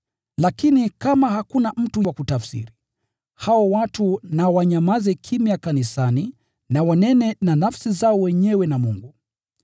Lakini kama hakuna mtu wa kutafsiri, hao watu na wanyamaze kimya kanisani na wanene na nafsi zao wenyewe na Mungu.